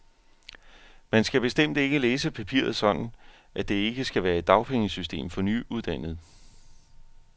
Man skal bestemt ikke læse papiret sådan, at der ikke skal være et dagpengesystem for nyuddannede.